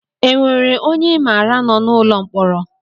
E nwere ọnye I maara nọ n'ụlọ mkpọrọ?